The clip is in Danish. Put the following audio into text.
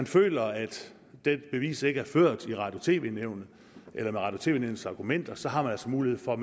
føler at dette bevis ikke er ført med radio og tv nævnets argumenter har man altså mulighed for at